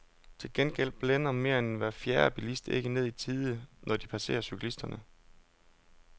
Til gengæld blænder mere end hver fjerde bilist ikke ned i tide, når de passerer cyklisterne.